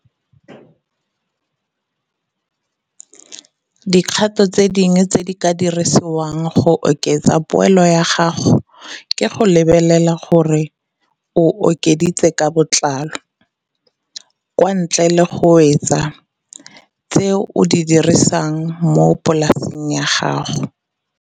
Dikgato tse dingwe tse di ka dirisiwang go oketsa poelo ya gago ke go lebelela gore o okeditse ka botlalo, kwa ntle ga go wetsa, tse o di dirisang mo polaseng ya gago.